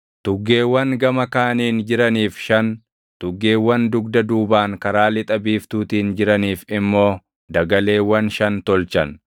tuggeewwan gama kaaniin jiraniif shan, tuggeewwan dugda duubaan karaa lixa biiftuutiin jiraniif immoo dagaleewwan shan tolchan.